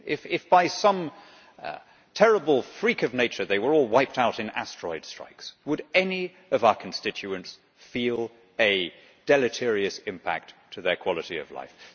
If, by some terrible freak of nature they were all wiped out in asteroid strikes, would any of our constituents feel a deleterious impact on their quality of life?